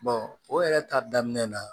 o yɛrɛ ta daminɛ na